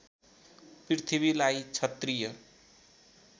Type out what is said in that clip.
पृथ्वीलाई क्षत्रिय